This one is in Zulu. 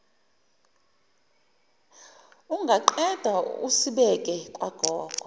ungaqeda usibeke kwagogo